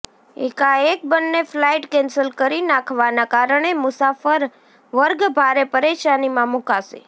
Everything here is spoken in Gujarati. એકાએક બંને ફલાઈટ કેન્સલ કરી નાખવાના કારણે મુસાફર વર્ગ ભારે પરેશાનીમાં મુકાશે